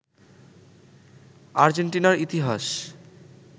আর্জেন্টিনার ইতিহাস